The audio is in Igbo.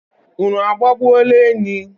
unu agbagbuola enyi?